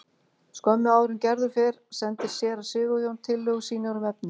Skömmu áður en Gerður fer sendir séra Sigurjón tillögur sínar um efni.